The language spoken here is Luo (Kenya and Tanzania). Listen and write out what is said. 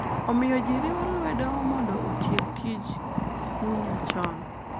Omiyo ji riwo lwedo mondo otiek tij kunyo chon.